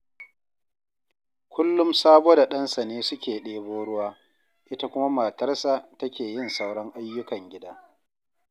Kullum Sabo da ɗansa ne suke ɗebo ruwa, ita kuma matarsa take yin sauran ayyukan gida